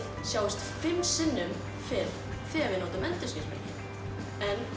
sjáist fimm sinnum betur þegar þið notið endurskinsmerki en